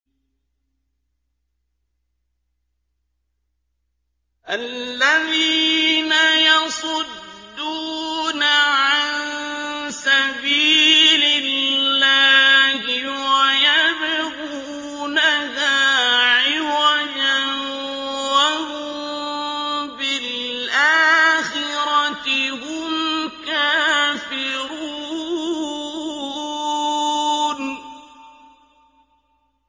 الَّذِينَ يَصُدُّونَ عَن سَبِيلِ اللَّهِ وَيَبْغُونَهَا عِوَجًا وَهُم بِالْآخِرَةِ هُمْ كَافِرُونَ